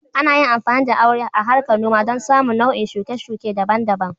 Ana yin amfani da aure a harkar noma don samun nau'in shuke-shuke daban-daban.